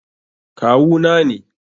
Kawu na ne.